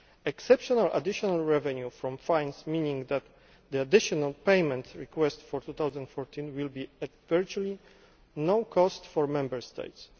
Exceptional additional revenue from fines means that the additional payment request for 2014 will be at virtually no cost to Member States.